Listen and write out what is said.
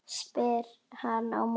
spyr hann á móti.